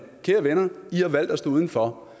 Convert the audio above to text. inden for